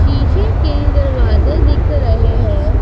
शीशे के दरवाजे दिख रहे हैं।